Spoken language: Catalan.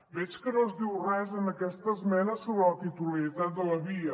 veig que no es diu res en aquesta esmena sobre la titularitat de la via